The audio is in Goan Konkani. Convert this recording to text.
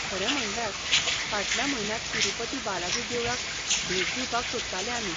खरें म्हणल्यार, फाटल्या म्हयन्यांत तिरुपति बालाजी देवळाक भेट दिवपाक सोदताले आमी.